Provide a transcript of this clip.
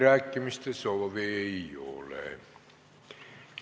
Rohkem kõnesoove ei ole.